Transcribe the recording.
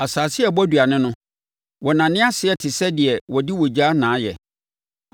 Asase a ɛbɔ aduane no, wɔnane aseɛ no te sɛ deɛ wɔde ogya na ayɛ;